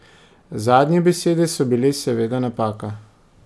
Zadnje besede so bile seveda napaka.